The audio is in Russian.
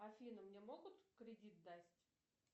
афина мне могут кредит дать